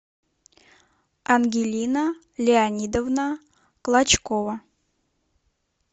ангелина леонидовна клочкова